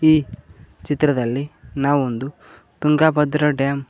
ಈ ಚಿತ್ರದಲ್ಲಿ ನಾವೊಂದು ತುಂಗಭದ್ರಾ ಡ್ಯಾಮ್ --